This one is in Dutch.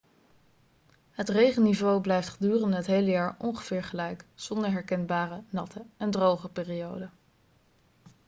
het regenniveau blijft gedurende het hele jaar ongeveer gelijk zonder herkenbare natte' en droge' perioden